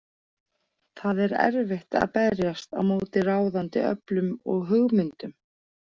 Það er erfitt að berjast á móti ráðandi öflum og hugmyndum.